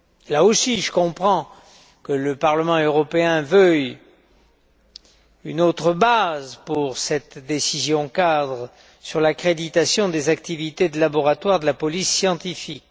Là aussi, je comprends que le Parlement européen veuille une autre base pour cette décision cadre sur l'accréditation des activités des laboratoires de la police scientifique.